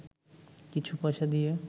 কিছু পয়সা দিয়ে